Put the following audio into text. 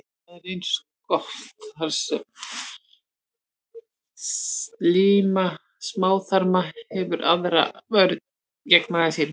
Það er eins gott, þar sem slíma smáþarma hefur enga aðra vörn gegn magasýrunni.